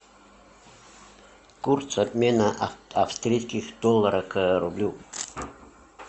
курс обмена австрийских долларов к рублю